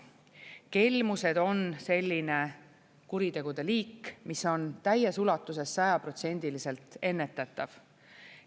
Kelmused on selline kuritegude liik, mis on täies ulatuses, sajaprotsendiliselt ennetatav.